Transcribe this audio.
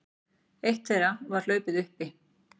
Eitt þeirra var hlaupið uppi